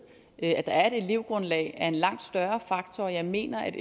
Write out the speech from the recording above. at der er et elevgrundlag er en langt større faktor og jeg mener at